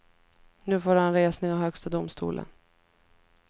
Nu får han resning av högsta domstolen.